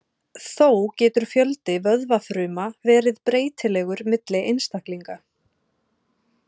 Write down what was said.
Þó getur fjöldi vöðvafruma verið breytilegur milli einstaklinga.